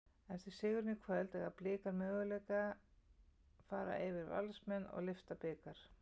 Eftir sigurinn í kvöld, eiga Blikar möguleika fara yfir Valsmenn og lyfta bikar?